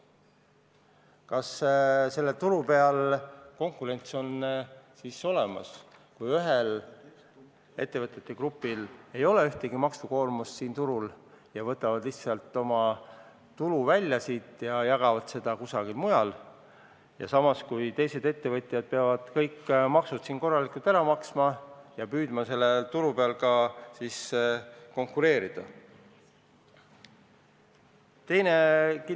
Kas sellel turul ikka on konkurents olemas, kui ühel ettevõtete grupil ei ole siin mingit maksukoormust ja nad võtavad lihtsalt oma tulu välja ja jagavad seda kusagil mujal, teised ettevõtjad aga peavad kõik maksud korralikult ära maksma ja püüdma ikkagi sellel turul konkureerida?